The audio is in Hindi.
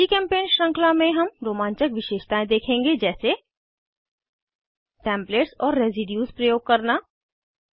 जीचेम्पेंट श्रृंखला में हम रोमांचक विशेषतायें देखेंगे जैसे टेम्पलेट्स और रेसिड्यूज़ प्रयोग करना